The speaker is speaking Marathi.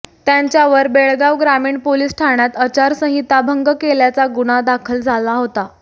त्यांच्यावर बेळगाव ग्रामीण पोलीस ठाण्यात आचारसंहिता भंग केल्याचा गुन्हा दाखल झाला होता